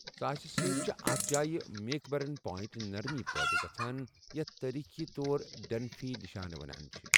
ژاسہِ سۭتۍ چھِ اَتھ جایہِ میک برنی پوینٹ نرمی پٲدٕ گژھَان، یَتھ تٲریخی طور ڈنفی نشانہٕ ونان چھِِ